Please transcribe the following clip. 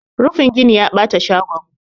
rufin gini ya bata shagon